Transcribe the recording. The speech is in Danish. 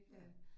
Ja